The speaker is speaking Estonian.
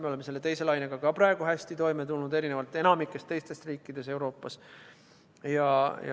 Me oleme teise lainega ka praegu hästi toime tulnud, erinevalt enamikust teistest riikidest Euroopas.